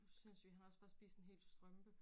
Sindssyg han har også bare spist en hel strømpe